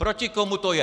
"Proti komu to je?"